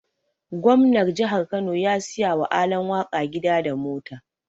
Gomnar jihar Kano ya siya wa Alan waka gida da mota.